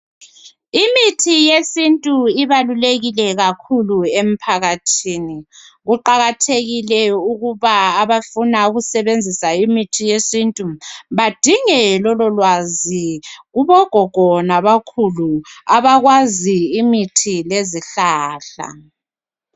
Imithi yesintu ibalulekile kakhulu emphakathini kuqakathekile ukuthi abafuna ukusebenzisa imithi yesintu badinge lololwazi kubo gogo labokhulu abakwazi imithi lezihlahla